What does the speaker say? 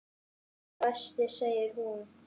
Sá besti segir hún.